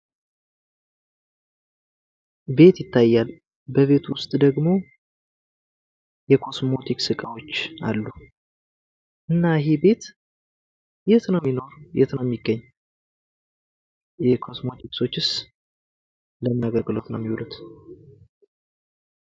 ቤት ይታያል በቤት ዉስጥ ደሞ የኮስሞቲክስ እቃዎች አሉ። እና ይሄ ቤት የት ነው ሚገኝ? እና ኮስሞቲክሶቹስ ለምን አገልግሎት ነው ሚውሉት?